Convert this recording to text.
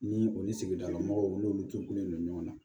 Ni o ni sigidala mɔgɔw n'olu turulen don ɲɔgɔn na